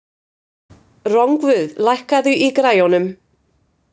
Rongvuð, lækkaðu í græjunum.